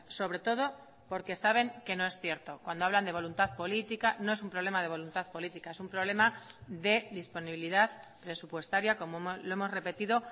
sobre todo porque saben que no es cierto cuando hablan de voluntad política no es un problema de voluntad política es un problema de disponibilidad presupuestaria como lo hemos repetido